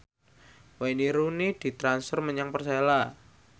Wayne Rooney ditransfer menyang Persela